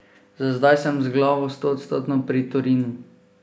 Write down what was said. Za zdaj sem z glavo stoodstotno pri Torinu.